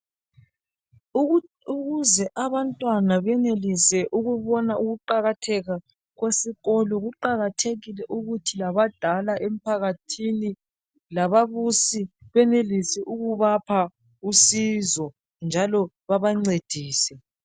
Ukuze abantwana benelise ukubona ukuqakatheka kwesikolo kuqakathekile ukuthi labadala emphakathini lababusi bemilisi ukubapha usizo njalo babancedise